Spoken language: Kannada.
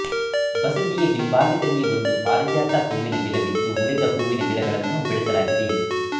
ಬಸದಿಯ ಹಿಂಭಾಗದಲ್ಲಿ ಒಂದು ಪಾರಿಜಾತ ಹೂವಿನ ಗಿಡವಿದ್ದು ಉಳಿದ ಹೂವಿನ ಗಿಡಗಳನ್ನೂ ಬೆಳೆಸಲಾಗಿದೆ